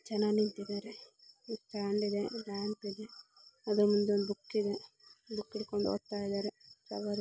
ಜನ ನಿಂತಿದ್ದಾರೆ ಒಂದು ಫ್ಯಾಮಿಲಿ ನಿಂತಿದೆ ಆದ್ರ ಮುಂದೆ ಒಂದು ಬುಕ್ ಇದೆ ಬುಕ್ಕಿಡುಕೊಂಡು ಹೋಗ್ತಾ ಇದ್ದಾರೆ.